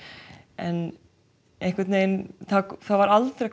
en einhvern veginn var aldrei